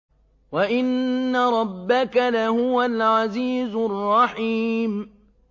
وَإِنَّ رَبَّكَ لَهُوَ الْعَزِيزُ الرَّحِيمُ